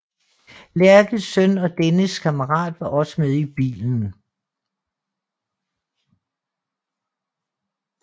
Lerches søn og dennes kammerat var også med i bilen